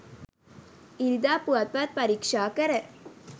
ඉරිදා පුවත්පත් පරීක්ෂා කර